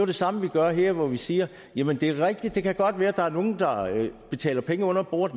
det samme vi gør her hvor vi siger jamen det er rigtigt at det godt kan være der er nogle der betaler penge under bordet